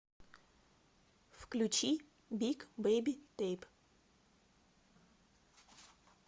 включи биг бэйби тэйп